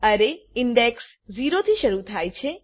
અરે ઇન્ડેક્સ 0 થી શરુ થાય છે